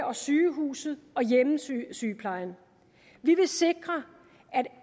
og sygehuset og hjemmesygeplejen vi vil sikre